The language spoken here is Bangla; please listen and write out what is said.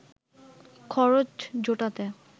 খরচ জোটাতে